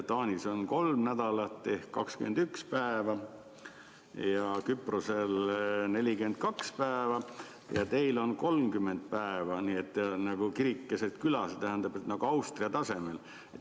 Taanis on kolm nädalat ehk 21 päeva ja Küprosel 42 päeva ja teil on 30 päeva – nagu kirik keset küla, see tähendab nagu Austria tasemel.